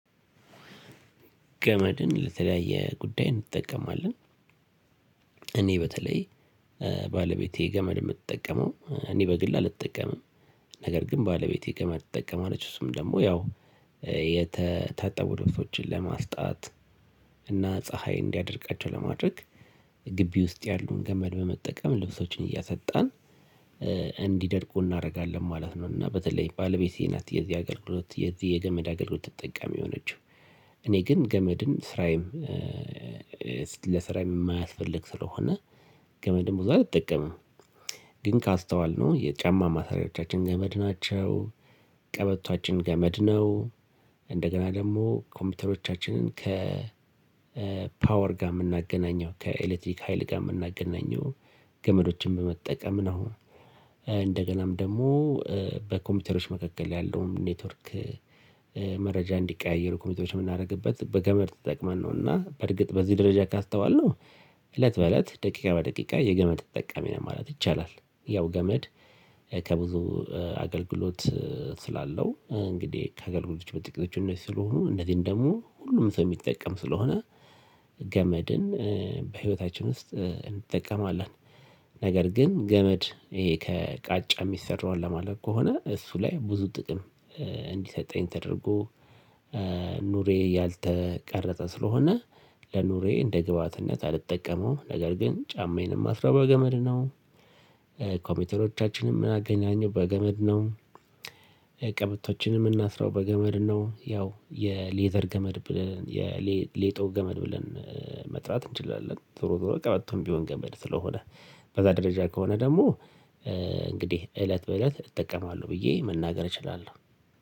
ገመድን ለተለያየ ጉዳይ እንጠቀመዋለን። እኔ በተለይ ባለቤቴ ገመድ የምትጠቀመው እኔ በግሌ አልጠቀምም። ነገር ግን ባለቤቴ ገመድ ትጠቀማለች እሱም ደግሞ ያው የታጠቡ ልብሶችን ለማስጣት እና ፀሀይ እንዲያደርቃቸው ለማድረግ ግቢ ውስጥ ያሉ ገመድ በመጠቀም ልብሶችን እያሰጣን እንዲደርቁ እናደርጋለን ማለት ነው። እና በተለይ ባለቤቴ ናት የዚህ አገልግሎት የዚህ የገመድ አገልግሎት ተጠቃሚ የሆነችው እኔ ግን ገመድን ስራዬም ለስራዬም የማያስፈልግ ስለሆነ ገመድም ብዙ አልጠቀምም። ግን ካስተዋልነው የጫማ ማሰሪያወቻችን ገመድ ናቸው ቀበቶዓችን ገመድ ነው። እንደገና ደግሞ ኮምፒውተሮቻችንን ከ ፓወር ጋር የምናገናኘው ከኤሌክትሪክ ሀይል ጋር የምናገናኘው ገመዶችን በመጠቀም ነው። እንደገናም ደግሞ በኮምፒውተሮች መካከል ያለውን ኔትወርክ መረጃ እንዲቀያየሩ ኮምፒውተሮች የምናደርግበት በገመድ ተጠቅመን ነውና በርግጥ በዚህ ደረጃ ካስተዋልነው እለት በእለት ደቂቃ በደቂቃ የገመድ ተጠቃሚ ነን ማለት ይቻላል። ያው ገመድ ከብዙ አገልግሎት ስላለው እንግዲህ ከአገልግሎቶች በጥቂቶች እነዚህ ስለሆኑ እንደዚህም ደግሞ ሁሉም ሰው የሚጠቀም ስለሆነ ገመድን በህይወታችን ውስጥ እንጠቀማለን። ነገር ግን ገመድ ይሄ ከቃጫ የሚሰራውን ለማለት ከሆነ እሱ ላይ ብዙ ጥቅም እንዲሰጠኝ ተደርጎ ኑሬ ያልተቀረጸ ስለሆነ ለኑሬ እንደ ግብአትነት አልጠቀመውም ነገር ግን ጫማዬን እማስረው በገመድ ነው። ከብዙ አገልግሎት ስላለው እንግዲህ ከአገልግሎቶች በጥቂቶች እነዚህ ስለሆኑ እንደዚሁም ደግሞ ሁሉም ሰው የሚጠቀም ስለሆነ ቀበቶችንም እምናስረው በገመድ ነው። ያው የሌዘር ገመድ ብለን የሌጦ ገመድ ብለን መጥራት እንችላለን ዞሮ ዞሮ ቀበቶም ቢሆን ገመድ ስለሆነ በዛ ደረጃ ከሆነ ደግሞ እንግዲህ እለት በእለት እጠቀማለሁ ብዬ መናገር እችላለሁ